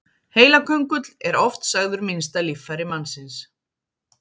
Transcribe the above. Heilaköngull er oft sagður minnsta líffæri mannsins.